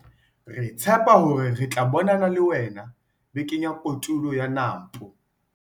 Re tshepa hore re tla bonana le wena Bekeng ya Kotulo ya Nampo!